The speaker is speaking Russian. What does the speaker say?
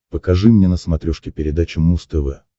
покажи мне на смотрешке передачу муз тв